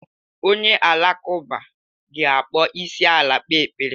Onye Alakụba ga-akpọ isiala kpee ekpere.